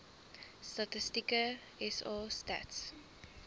statistieke sa stats